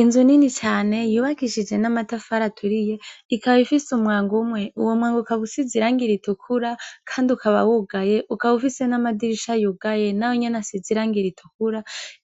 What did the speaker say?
Inzu nini cane yubakishije namatafari aturiye ikaba ifise umwango umwe uwomwango ukabusize irangi ritukura kandi ukaba wugaye ukabufise namadirisha yugaye nayonyene akaba asize irangi ritukura